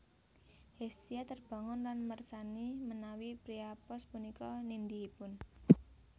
Hestia terbangun lan mersani menawi Priapos punika nindihipun